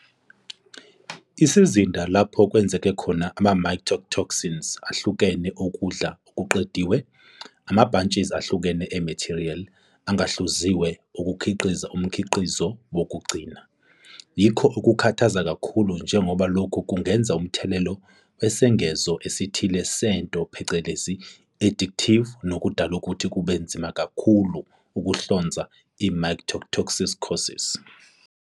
Isizinda lapho kwenzeka khona ama-mycotoxins ahlukene ukudla okuqediwe, ama-batches ahlukene e-material engahluziwe ukukhiqiza umkhiqizo wokugcina, yikho okukhathaza kakhulu njengoba lokhu kungenza umthelela wesengezo esithile sento phecelezi i-additive nokudala ukuthi kube nzima kakhulu ukuhlonza i-mycotoxicoses.